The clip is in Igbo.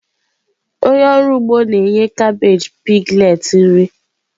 Onye ọrụ ugbo na-enye kabeeji piglets nri.